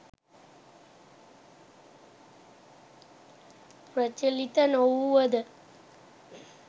ප්‍රචලිත නොවූවද